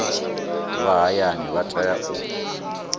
vha hayani vha tea u